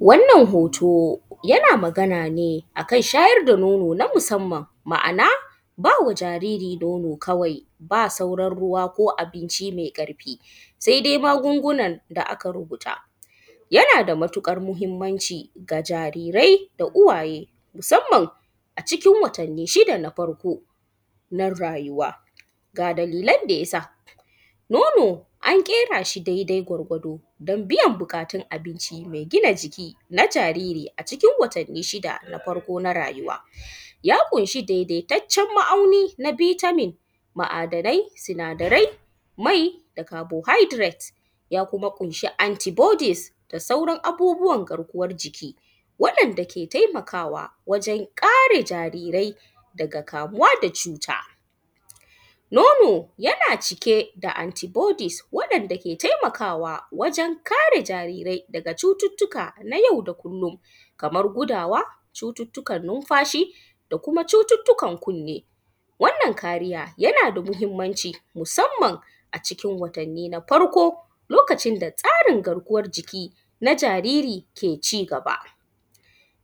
Wannan hoto yana magana ne akan shayar da nono na musanman ma’ana bama jariri nono kawai, ba sauran ruwa ko abinci mai ƙarfi, saidai magungunan da aka rubuta. Yana da matuƙar mahinmanci wa jarirai da uwaye musanaman a cikin watanni shida na farko na rayuwa, ga dalilan da ya sa; nono an ƙera shi dai-dai gwar-gwado don biyan buƙatun abinci mai gina jiki na jariri a cikin watanni shidan farko na rayuwa ya ƙunshi daidaitaccen ma’auni na vitamin, ma’adanai, sinadarai mai da carbohydrate ya kuma ƙunshi anti bodies da sauran abubuwan garkuwan jiki waɗanda ke taimakawa wajen kare jarirai daga kamuwa da cuta. Nono yana cike da anti bodies waɗanda ke taimakawa wajen kare jarirai daga cututtuka na yau da kullon kaman gudawa, cututtukan nunfashi, da kuma cuttukan kunnni. Wannan kariya yana da muhinmanci musanman a cikin watanni na farko lokacin da tsarin garkuwan jiki na jariri ke cigaba,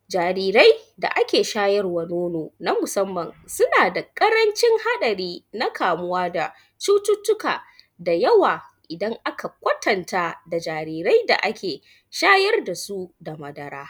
jariri da ake shawarwa nono na musanman suna da ƙarancin haɗari na kamuwa da cututtuka da yawa idan aka kwatanta da jarirai da ake shayar da su da madara.